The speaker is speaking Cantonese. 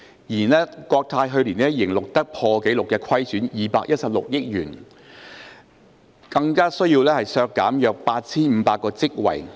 然而，國泰去年仍錄得破紀錄虧損216億元，並需削減約8500個職位。